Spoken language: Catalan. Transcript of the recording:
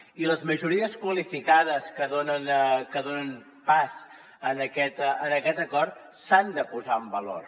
i les majories qualificades que donen pas a aquest acord s’han de posar en valor